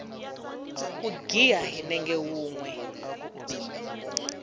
ku giya hi nenge wunwe